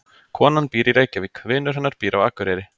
Konan býr í Reykjavík. Vinur hennar býr á Akureyri.